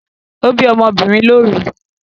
O bi ọ́mọ́ obìnrin lóru